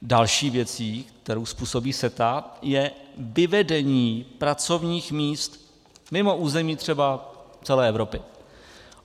Další věcí, kterou způsobuje CETA, je vyvedení pracovních míst mimo území třeba celé Evropy.